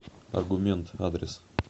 аргумент адрес